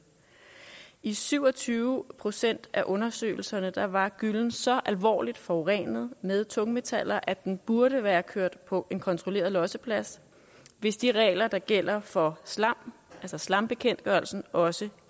i syv og tyve procent af undersøgelserne var var gyllen så alvorligt forurenet med tungmetaller at den skulle være kørt på en kontrolleret losseplads hvis de regler der gælder for slam altså slambekendtgørelsen også